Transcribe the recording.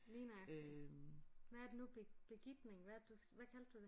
Lige nøjagtig hvad er det nu begitning hvad er det du hvad kaldte du det